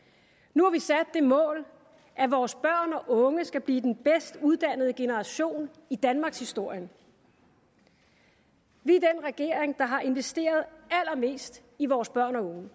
nu har vi sat det mål at vores børn og unge skal blive den bedst uddannede generation i danmarkshistorien vi er den regering der har investeret allermest i vores børn og unge